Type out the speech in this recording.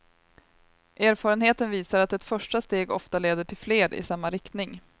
Erfarenheten visar att ett första steg ofta leder till fler i samma riktning.